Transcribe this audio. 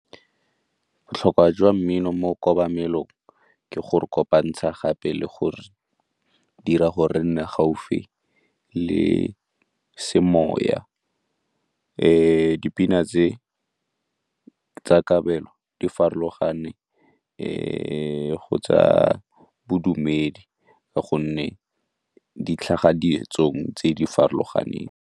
Botlhokwa jwa mmino mo kobamelong ke go re kopantsha gape le gore re dira gore nne gaufi le semoya. Dipina tse tsa kabelo di farologane go tsa bodumedi ka gonne di tlhaga ditsong tse di farologaneng.